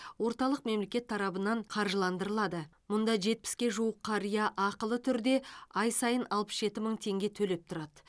орталық мемлекет тарапынан қаржыландырылады мұнда жетпіске жуық қария ақылы түрде ай сайын алпыс жеті мың теңге төлеп тұрады